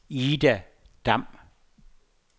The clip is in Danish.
Ida Damm